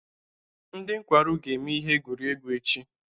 Ndị nkwarụ ga-eme ihe egwuregwu echi.